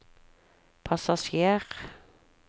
passasjer